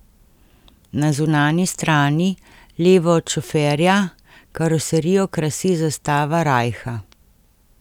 Na zunanji strani, levo od šoferja, karoserijo krasi zastava rajha.